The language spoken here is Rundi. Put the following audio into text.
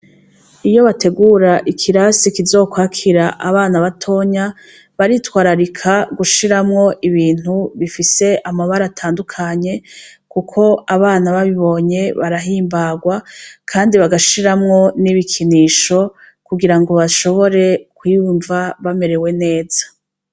Iyo bategur' ikirasi kizokwakir' abana batonya, baritwararika gushiramw' ibintu bifis' amabar' atandukanye, kuk' abana babibonye barahimbagwa kandi bagashiramwo n' ibikinisho kugirango bashobore kwiyumva bamerewe neza.